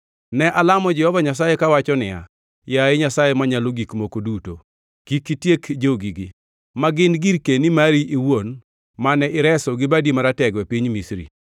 Ne alamo Jehova Nyasaye kawacho niya, “Yaye Nyasaye Manyalo Gik Moko Duto, kik itiek jogigi, ma gin girkeni mari iwuon mane ireso gi badi maratego e piny Misri.